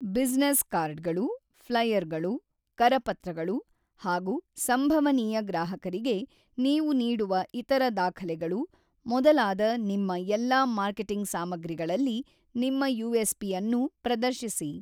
Business ಕಾರ್ಡ್‌ಗಳು, ಫ್ಲೈಯರ್‌ಗಳು, ಕರಪತ್ರಗಳು ಹಾಗು ಸಂಭವನೀಯ ಗ್ರಾಹಕರಿಗೆ ನೀವು ನೀಡುವ ಇತರ ದಾಖಲೆಗಳು ಮೊದಲಾದ ನಿಮ್ಮ ಎಲ್ಲಾ ಮಾರ್ಕೆಟಿಂಗ್ ಸಾಮಗ್ರಿಗಳಲ್ಲಿ ನಿಮ್ಮ ಯುಎಸ್‌ಪಿ ಅನ್ನು ಪ್ರದರ್ಶಿಸಿ.